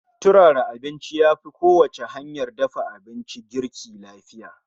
turara abincin yafi kowacce hanyar dafa abinci girki lafiya